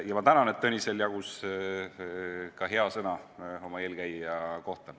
Ja ma tänan, et Tõnisel jagus ka hea sõna oma eelkäija kohta.